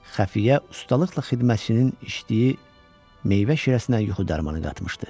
Xəfiyə ustalıqla xidmətçinin içdiyi meyvə şirəsinə yuxu dərmanı qatmışdı.